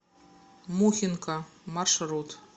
мухинка маршрут